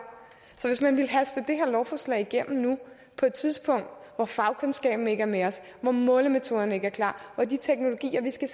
lovforslag igennem nu på et tidspunkt hvor fagkundskaben ikke er med os hvor målemetoderne ikke er klar hvor de teknologier vi skal